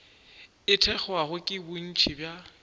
e thekgwago ke bontši bja